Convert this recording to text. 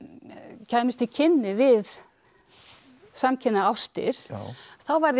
kæmist í kynni við samkynhneigðar ástir þá verð ég